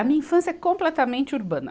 A minha infância é completamente urbana.